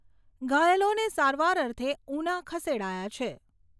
ઘાયલોને સારવાર અર્થે ઉના ખસેડાયા છે.